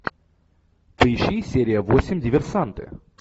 поищи серия восемь диверсанты